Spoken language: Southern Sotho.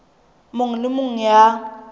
mong le e mong ya